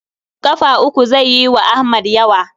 Ƙafa uku zai yi wa Ahmad yawa.